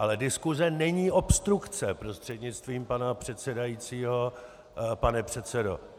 Ale diskuse není obstrukce, prostřednictvím pana předsedajícího pane předsedo.